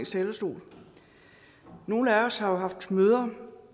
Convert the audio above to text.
talerstol nogle af os har haft møder